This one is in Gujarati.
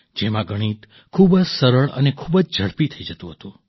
જેમાં ગણિત ખૂબ જ સરળ અને ખૂબ જ ઝડપી થઈ જતું હતું